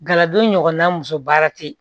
Galadon ɲɔgɔnna muso baara te yen